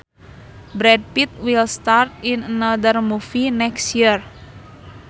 Brad Pitt will star in another movie next year